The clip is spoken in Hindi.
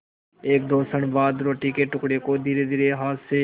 एकदो क्षण बाद रोटी के टुकड़े को धीरेसे हाथ से